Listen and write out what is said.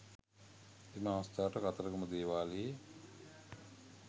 එම අවස්ථාවට කතරගම දේවාලයේ